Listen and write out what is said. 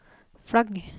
flagg